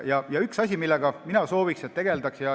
On üks asi, millega mina sooviksin, et tegeldaks.